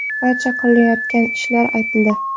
Barcha qilayotgan ishlari aytildi.